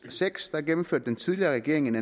seks gennemførte den tidligere regering